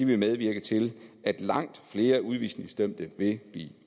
vil medvirke til at langt flere udvisningsdømte vil blive